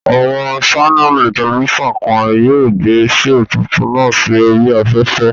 Àwọn ṣánẹ̀lì tẹlifísàn kan yóò gbé shoò tuntun náà sí oríi afẹ́fẹ́